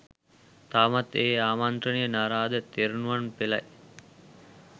තවමත් ඒ ආමන්ත්‍රණය නාරද තෙරණුවන් පෙලයි